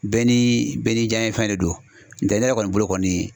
Bɛɛ ni bɛɛ ni janɲɛ fɛn de don n'o tɛ ne yɛrɛ kɔni bolo kɔni.